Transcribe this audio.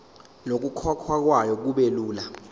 nokukhokhwa kwayo kubelula